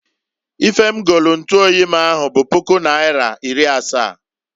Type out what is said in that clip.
Ife m golu ntuoyi m ahụ bụ puku naịra iri asa.